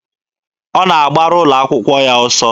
Ọ na-agbara ụlọ akwụkwọ ya ọsọ.